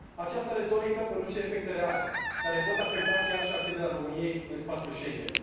Această retorică produce efecte reale, care pot afecta chiar și accederea României în spațiul Schengen.